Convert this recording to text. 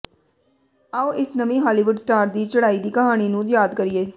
ਆਓ ਇਸ ਨਵੀਂ ਹਾਲੀਵੁੱਡ ਸਟਾਰ ਦੀ ਚੜ੍ਹਾਈ ਦੀ ਕਹਾਣੀ ਨੂੰ ਯਾਦ ਕਰੀਏ